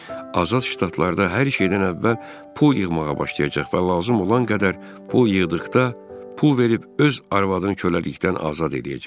azad ştatlarda hər şeydən əvvəl pul yığmağa başlayacaq və lazım olan qədər pul yığdıqda pul verib öz arvadını köləlikdən azad eləyəcək.